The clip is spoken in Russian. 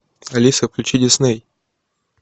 алиса включи дисней